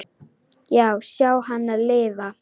Já, sjá hana lifa.